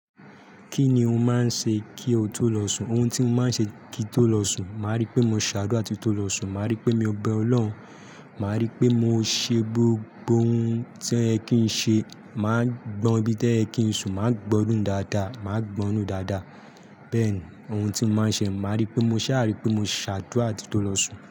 Kí ni o máa ń ṣe kí o tó lọ sùn? Ohun tí mo máa ń ṣe kí tó lọ sùn, màá rí pé mo ṣa’dura tin tó lọ sùn, màá rí pé mo bẹ Ọlọ́run, màá rí pé mo ṣe gbogbo ohun tí ẹ́ kí n ṣe, màá gbọn ibi tí ẹ́ kí n sùn, màá gbọ́nu dáadáa, màá gbọ́nu dáadáa. Bẹ́ẹ̀ ni ohun tí mo máa ń ṣe. Màá rí pé mo ṣà-- àrí pé mo ṣ’àdúrà tin tó lọ sùn.